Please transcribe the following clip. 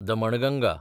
Damanganga